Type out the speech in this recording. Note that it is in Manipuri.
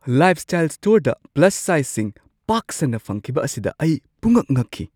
ꯂꯥꯏꯐꯁ꯭ꯇꯥꯏꯜ ꯁ꯭ꯇꯣꯔꯗ ꯄ꯭ꯂꯁ ꯁꯥꯏꯖꯁꯤꯡ ꯄꯥꯛ ꯁꯟꯅ ꯐꯪꯈꯤꯕ ꯑꯁꯤꯗ ꯑꯩ ꯄꯨꯡꯉꯛ-ꯉꯛꯈꯤ꯫